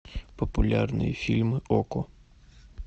популярные фильмы окко